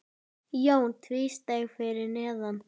Jón tvísté fyrir neðan.